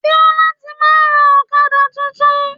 Fiola ti máa rà Ọ̀kadà tuntun.